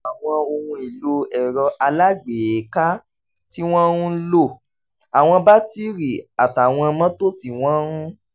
àwọn ohun èlò ẹ̀rọ alágbèéká tí wọ́n ń lò àwọn batiri àtàwọn mọ́tò tí wọ́n ń